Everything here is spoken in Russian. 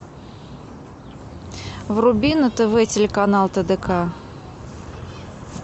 вруби на тв телеканал тдк